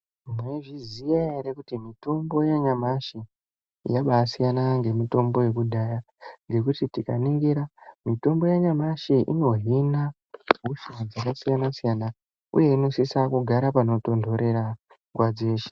Maizviziya ere kuti mitombo yanyamashi yabasiyana ngemitombo yekudhaya ngekuti tikaningira mitombo yanyamashi inohina hosha dzakasiyana siyana uye inosisa kugara panotonhorera nguwa dzeshe.